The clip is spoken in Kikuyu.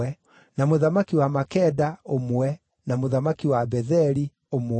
na mũthamaki wa Makeda, ũmwe, na mũthamaki wa Betheli, ũmwe,